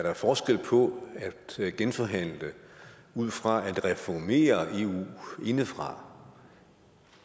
er da forskel på at genforhandle ud fra at reformere eu indefra